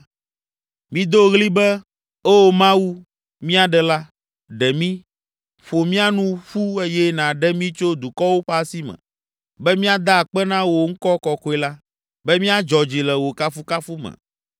Mido ɣli be, “Oo Mawu, mia Ɖela, ɖe mí, Ƒo mía nu ƒu eye nàɖe mí tso dukɔwo ƒe asi me. Be míada akpe na wò ŋkɔ kɔkɔe la, Be míadzɔ dzi le wò kafukafu me.”